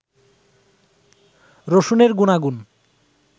রসুনের গুনাগুন